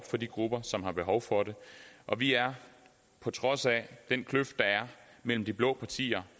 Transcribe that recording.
for de grupper som har behov for det og vi er på trods af den kløft der er mellem de blå partier